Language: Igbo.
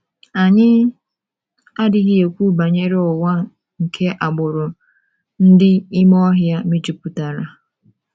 ANYỊ adịghị ekwu banyere ụwa nke agbụrụ ndị ime ọhịa mejupụtara.